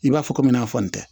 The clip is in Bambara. I b'a fɔ komi n'a fɔ n tɛ